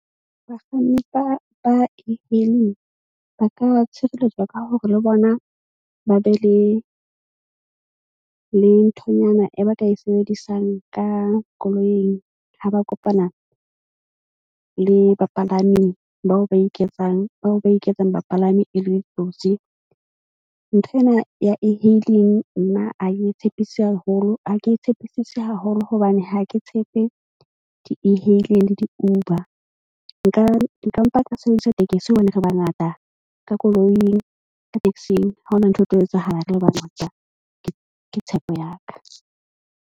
Bakganni ba E-hailing ba ka tshireletswa ka hore le bona ba be le nthonyana e ba ka e sebedisang ka koloing. Ha ba kopana le bapalami bao ba iketsang bao ba iketsang bapalami e le ditsotsi. Nthwena ya E-hailing nna a ye ntshepise haholo ha ke tshepisise haholo hobane ha ke tshepe di-E-hailing le di-Uber. Nka mpa ka sebedisa tekesi hobane re bangata ka koloing. Ka taxi-ng ha ho na ntho e tlo etsahala re le bangata ke tshepo ya ka.